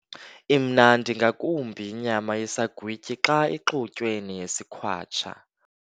Imnandi ngakumbi inyama yesagwityi xa ixutywe neyesikhwatsha.